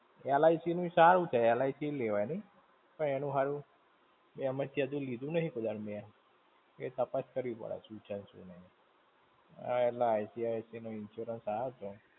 LIC નું ય સારું છે. LIC ય લેવાય નહિ? પણ એનું હારું, એમાંથી હજુ લીધું નહિ કોઈ દાહડુ મેં. એ તાપસ કરવી પડે શું છે ને શું નહિ? આ એલા ICICI નો insurance આયો તો.